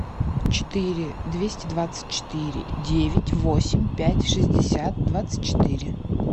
четыре двести двадцать четыре девять восемь пять шестьдесят двадцать четыре